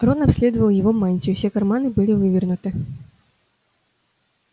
рон обследовал его мантию все карманы были вывернуты